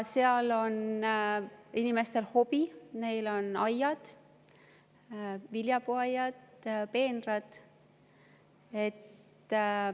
Seal on inimestel hobid, neil on aiad, viljapuuaiad, peenrad.